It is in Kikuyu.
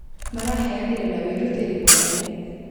Maraheanire na wĩrutĩri mũnene